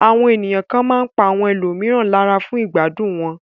Àwọn ènìyàn kan máa ń pa àwọn ẹlòmíràn lára fún ìgbádùn wọn.